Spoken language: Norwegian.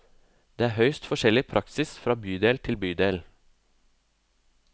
Det er høyst forskjellig praksis fra bydel til bydel.